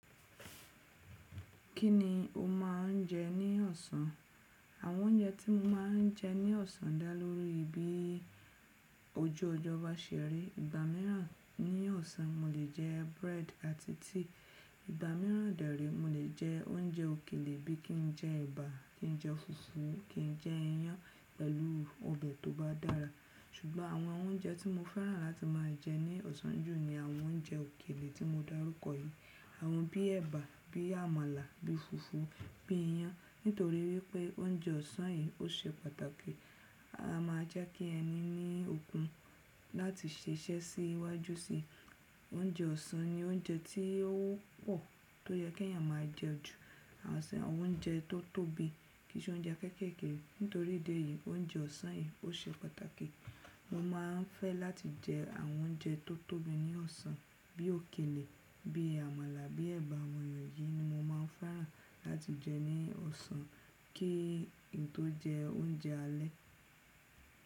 Kí ni o máa ń jẹ ní ọ̀sán? Àwọn oúnjẹ tí mo máa ń jẹ ní ọ̀sán dá lórí bí ojú ọjọ́ bá ṣe rí. Ìgbà mìíràn ní ọ̀sán, mo lè jẹ búrẹ́dì àti tíì, ìgbà mìíràn dẹ́rẹ̀, mo lè jẹ oúnjẹ òkèlè bí i kí n jẹ ẹ̀bà, kí n jẹ fùfú, kí n jẹ iyán pẹ̀lú ọbẹ̀ tó bá dára. Ṣùgbọ́n àwọn oúnjẹ tí mo fẹ́ràn láti máa jẹ ní ọ̀sán jù ni àwọn oúnjẹ òkèlè tí mo dárúkọ yìí. Àwọn bí i ẹ̀bà, bí i àmàlà, bí i fùfú, bí i iyán. Nítorí wípé oúnjẹ ọ̀sán yìí ó ṣe pàtàkì, a máa jẹ́ kí ẹni ní okun láti ṣiṣẹ́ sí iwájú sí i. Oúnjẹ ọ̀sán ni oúnjẹ tí ó wọ́pọ̀ tó yẹ kí èèyàn máa jẹ ju àwọn oúnjẹ tó tóbi, kì í ṣe oúnjẹ kéékèèké. Nítorí dé yìí, oúnjẹ ọ̀sán yìí ó ṣe pàtàkì. Mo máa ń fẹ́ láti jẹ àwọn oúnjẹ tó tóbi ní ọ̀sán bí i òkèlè, bí i àmàlà, bí i ẹ̀bà. Àwọn èyí ni mo máa ń fẹ́ràn láti jẹ ní ọ̀sán kí ì n tó jẹ oúnjẹ alẹ́.